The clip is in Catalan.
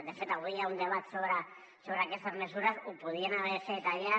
de fet avui hi ha un debat sobre aquestes mesures ho podrien haver fet allà